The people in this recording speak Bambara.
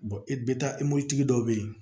i bɛ taa tigi dɔw bɛ yen